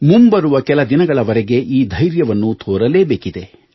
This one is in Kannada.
ಮುಂಬರುವ ಕೆಲ ದಿನಗಳವರೆಗೆ ಈ ಧೈರ್ಯವನ್ನು ತೋರಲೇಬೇಕಿದೆ